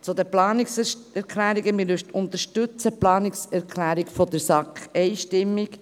Zu den Planungserklärungen: Wir unterstützen die Planungserklärung der SAK einstimmig.